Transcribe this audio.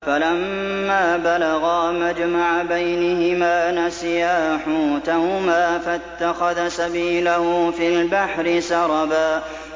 فَلَمَّا بَلَغَا مَجْمَعَ بَيْنِهِمَا نَسِيَا حُوتَهُمَا فَاتَّخَذَ سَبِيلَهُ فِي الْبَحْرِ سَرَبًا